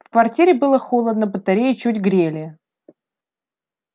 в квартире было холодно батареи чуть грели